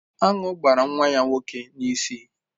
Aṅụ gbara nwa ya nwoke n'isi.